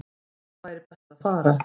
Hvert væri best að fara?